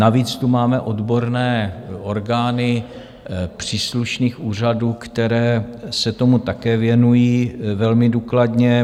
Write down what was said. Navíc tu máme odborné orgány příslušných úřadů, které se tomu také věnují velmi důkladně.